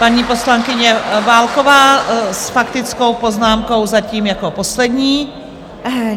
Paní poslankyně Válková s faktickou poznámkou, zatím jako poslední.